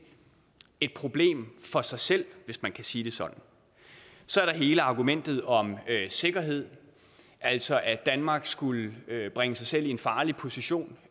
et problem for sig selv hvis man kan sige det sådan så er der hele argumentet om sikkerhed altså at danmark skulle bringe sig selv i en farlig position